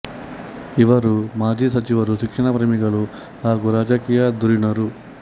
ಇವರು ಮಾಜಿ ಸಚಿವರು ಶಿಕ್ಷಣ ಪ್ರೇಮಿಗಳು ಹಾಗೂ ರಾಜಕೀಯ ಧುರೀಣರು